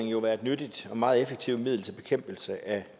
jo være et nyttigt og meget effektivt middel til bekæmpelse af